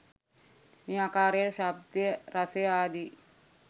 මේ ආකාරයටම ශබ්දය රසය ආදි